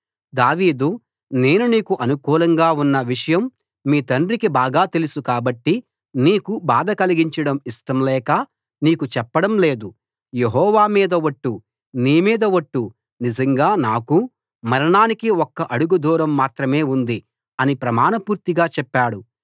దావీదు నేను నీకు అనుకూలంగా ఉన్న విషయం మీ తండ్రికి బాగా తెలుసు కాబట్టి నీకు బాధ కలిగించడం ఇష్టంలేక నీకు చెప్పడం లేదు యెహోవా మీద ఒట్టు నీ మీద ఒట్టు నిజంగా నాకూ మరణానికి ఒక్క అడుగు దూరం మాత్రమే ఉంది అని ప్రమాణపూర్తిగా చెప్పాడు